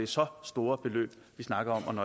så store beløb vi snakker om